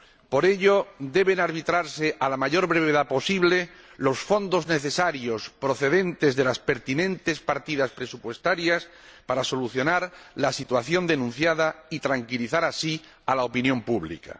Por ello, deben arbitrarse, a la mayor brevedad posible, los fondos necesarios, procedentes de las pertinentes partidas presupuestarias, para solucionar la situación denunciada y tranquilizar así a la opinión pública.